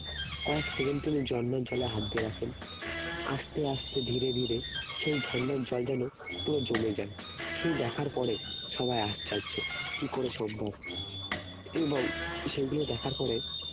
কয়েক সেকেন্ড তিনি ঝর্ণার জলে হাত দিয়ে রাখেন আস্তে আস্তে ধীরে ধীরে সেই ঝর্ণার জল যেন পুরো জমে যায় সেই দেখার পরে সবাই আশ্চর্য কি করে সম্ভব এবং সেইগুলো দেখার পরে